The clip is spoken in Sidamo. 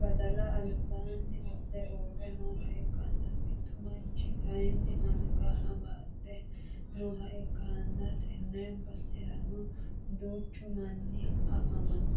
badala albaanni wodhe uurre nooha ikkana mittu manchchi kaayiini angga amsde nooha ikkanana tenne baserano duuchchu manni afamanno